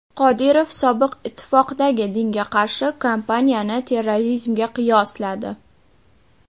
Qodirov Sobiq ittifoqdagi dinga qarshi kampaniyani terrorizmga qiyosladi.